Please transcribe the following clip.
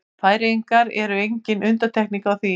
Færeyjar eru engin undantekning á því.